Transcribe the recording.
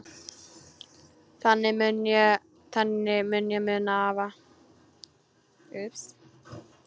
Þannig mun ég muna afa.